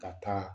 Ka taa